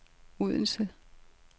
Odense